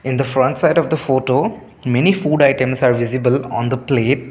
n the front side of the photo many food items are visible on the plate.